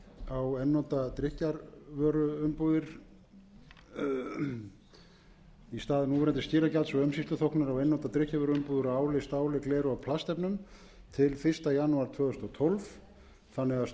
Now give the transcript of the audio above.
á einnota drykkjarvöruumbúðir í stað núverandi skilagjalds og umsýsluþóknunar á einnota drykkjarvöruumbúðir úr áli stáli gleri og plastefnum til fyrsta janúar tvö þúsund og tólf þannig